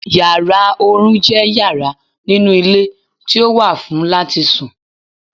Yàrá oorun je yara ninu ile ti o wà fun lati sùn